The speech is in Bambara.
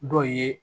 Dɔ ye